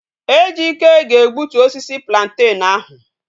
Ejike ga egbutu osisi plantain ahu